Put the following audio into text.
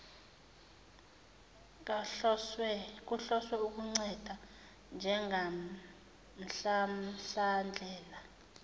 kuhloswe ukunceda njengomhlamhlandlela